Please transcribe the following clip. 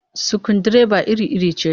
Sukundireba iri-iri ce